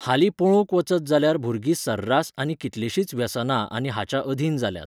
हालीं पळोवंक वचत जाल्यार भुरगीं सर्रास आनी कितलींशींच व्यसनां आनी हाच्या अधीन जाल्यांत.